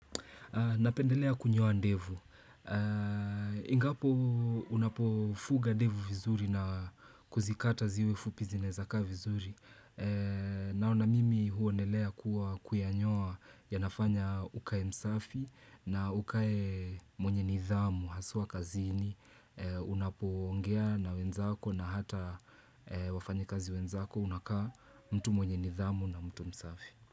Napendelea kunyoa ndevu. Ingapo unapofuga ndevu vizuri na kuzikata ziwe fupi zinaezakaa vizuri. Nao na mimi huonelea kuwa kuyanyoa yanafanya ukae msafi na ukae mwenye nidhamu, haswa kazini. Unapoongea na wenzako na hata wafanyikazi wenzako unakaa mtu mwenye nidhamu na mtu msafi.